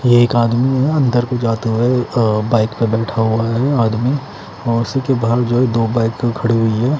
ये एक आदमी है अंदर को जाते हुए अ बाइक पे बैठा हुआ है आदमी और उसी के बाहर जो है दो बाइक खड़ी हुई है।